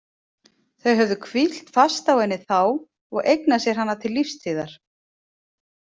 Þau höfðu hvílt fast á henni þá og eignað sér hana til lífstíðar.